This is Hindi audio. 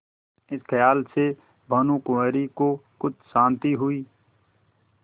इस खयाल से भानुकुँवरि को कुछ शान्ति हुई